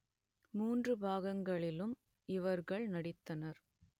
மூன்று பாகங்களிலும் இவர்கள் நடித்தனர்